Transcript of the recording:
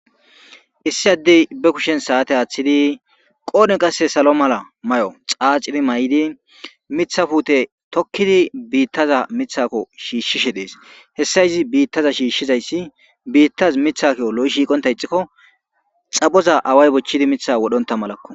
Issi addey be kushen saate aaththidi qooden qasse salo mala may'o xaaciri may'idi mithafuute tokkidi biittaza mithakko shiishshishe dees hessa izi biittaza shiishshizayssi biittaz mithako lo'i shiiqonta ixikko xapoza away bochchidi mitha wodhonta malakko